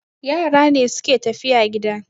Yara ne suke tafiya gida